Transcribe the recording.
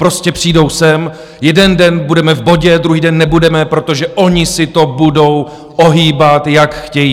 Prostě přijdou sem, jeden den budeme v bodě, druhý den nebudeme, protože oni si to budou ohýbat, jak chtějí.